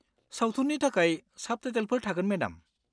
सावथुननि थाखाय साबटाइटेलफोर थागोन मेडाम।